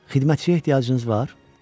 Xidmətçiyə ehtiyacınız var?